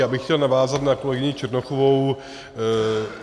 Já bych chtěl navázat na kolegyni Černochovou.